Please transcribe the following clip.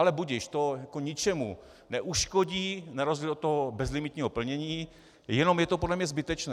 Ale budiž, to ničemu neuškodí na rozdíl od toho bezlimitního plnění, jenom je to podle mě zbytečné.